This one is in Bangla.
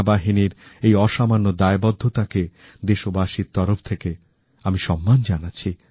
ভারতীয় সেনাবাহিনীর এই অসামান্য দায়বদ্ধতা কে দেশবাসীর তরফ থেকে আমি সম্মান জানাচ্ছি